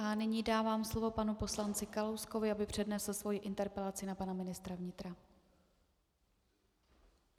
A nyní dávám slovo panu poslanci Kalouskovi, aby přednesl svoji interpelaci na pana ministra vnitra.